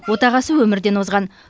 отағасы өмірден озған